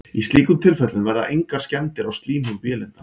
í slíkum tilfellum verða engar skemmdir á slímhúð vélindans